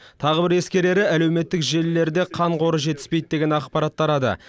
тағы бір ескерері әлеуметтік желілерде қан қоры жетіспейді деген ақпарат тарады